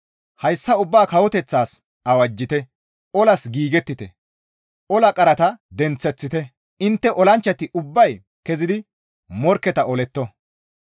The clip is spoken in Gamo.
«Hayssa ubbaa kawoteththatas awajjite! olas giigettite! ola qarata denththeththite! Intte olanchchati ubbay kezidi morkketa oletto!